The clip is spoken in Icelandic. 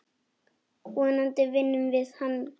Vonandi vinnum við hann.